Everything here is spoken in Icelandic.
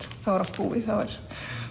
er allt búið þá er